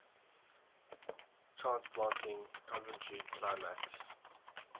transplanting coventry climax